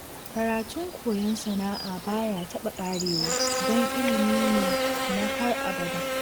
Karatun koyon sana'a ba ya taɓa ƙarewa, don ilimi ne na har abada